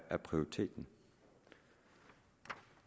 er prioriteringen